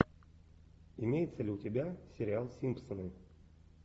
имеется ли у тебя сериал симпсоны